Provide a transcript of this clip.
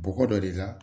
Bɔgɔ dɔ de la